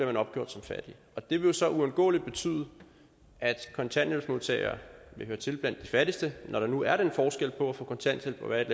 man opgjort som fattig og det vil jo så uundgåeligt betyde at kontanthjælpsmodtagere vil høre til blandt de fattigste når der nu er den forskel på at få kontanthjælp og være i et